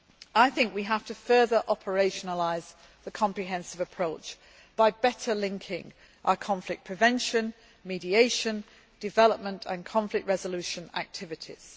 I think we have to further operationalise the comprehensive approach, by better linking our conflict prevention, mediation, development and conflict resolution activities.